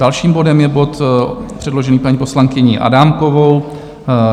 Dalším bodem je bod předložený paní poslankyní Adámkovou.